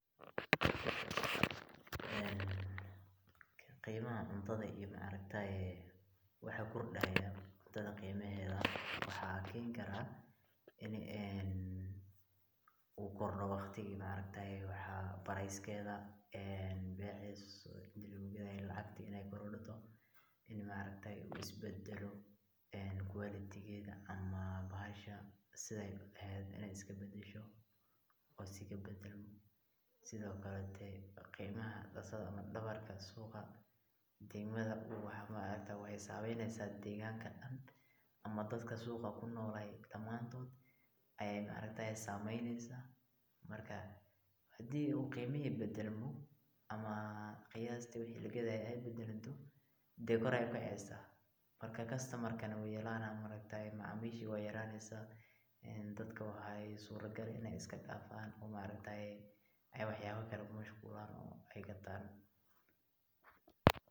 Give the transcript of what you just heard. Qiimaha cuntada iyo waxa kordaayo waxaa keeni karaa, in uu kordo waqtiga wax beeriskeeda beeca inti lagu gadaaye inuu kordo, inuu is badalo quality geeda ama bahasha sida aay eheed inaay iska badasho, sido kale qiimaha suuqa waxeey sameeyneysa degmada Dan, ama dadka suuqa kunool damaantood ayeey sameeyneysa, hadii uu qiimihi badalmo ama qiyaasti wixi lagadaaye aay bedelmato, kor ayeey ukaceysa customer wuu yaraana, macamiisha waay yaraneysa, dadka qaar inaay iska daafan oo wax yaaba kale ku mashquulan ayaga xitaa.